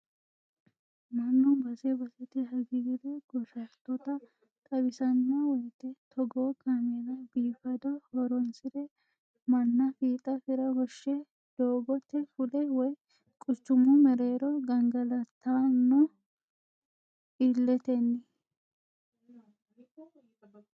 Mannu base basete hagiire goshattota xawisano woyte togoo kaameella biifado horonsire manna fiixa fira woshshe doogote fule woyi quchumu mereero gangalattano ililetetenni.